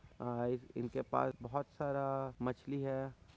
अ इनके पास बोहोत सारा मछली हैं।